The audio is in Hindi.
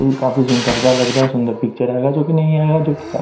इ काफी सुंदरता लगता सुंदर पिक्चर आएगा जो की नही आयेगा जो की--